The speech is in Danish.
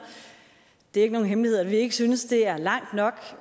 det er ikke nogen hemmelighed at vi ikke synes det er langt nok